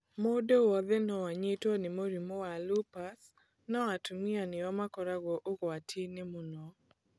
Mũndũ wothe no anyitwo nĩ mũrimũ wa lupus, no atumia nĩo makoragwo ũgwatinĩ mũno.